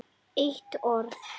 Eitt orð